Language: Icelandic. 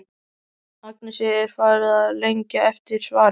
Agnesi er farið að lengja eftir svari.